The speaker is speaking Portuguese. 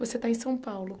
Você está em São Paulo.